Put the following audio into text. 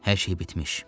Hər şey bitmiş.